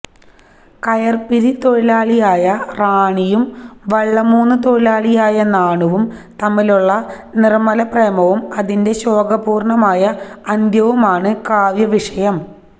കയര്പിരി തൊഴിലാളിയായ റാണിയും വള്ളമൂന്ന് തൊഴിലാളിയായ നാണുവും തമ്മിലുള്ള നിര്മ്മല പ്രേമവും അതിന്റെ ശോകപൂര്ണ്ണമായ അന്ത്യവുമാണ് കാവ്യവിഷയം